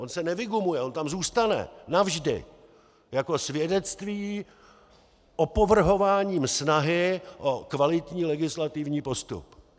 On se nevygumuje, on tam zůstane navždy jako svědectví opovrhování snahy o kvalitní legislativní postup.